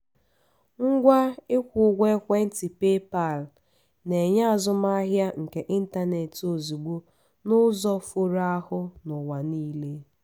ngwa ịkwụ ụgwọ ekwentị paypal na-enye azụmahịa nke ịntanetị ozugbo n'ụzọ foro ahụ n'ụwa niile.